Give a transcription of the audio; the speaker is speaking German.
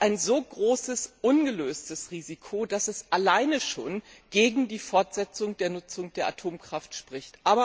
ein so großes, ungelöstes Risiko ist, dass dies allein schon gegen die Fortsetzung der Nutzung der Atomkraft spricht.